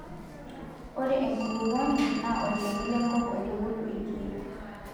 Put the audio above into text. Ore enkulukuoni naa olchoni lenkop oitubuluu irkiek.